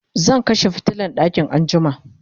zan kashe fitilan ɗakin anjima